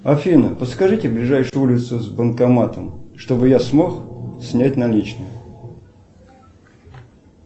афина подскажите ближайшую улицу с банкоматом чтобы я смог снять наличные